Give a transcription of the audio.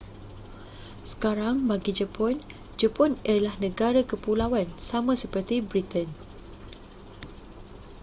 sekarang bagi jepun jepun ialah negara kepulauan sama seperti britain